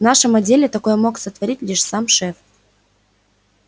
в нашем отделе такое мог сотворить лишь сам шеф